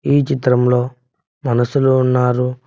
ఈ చిత్రం లో మనుషులు ఉన్నారు.